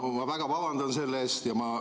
Ma väga vabandan selle eest!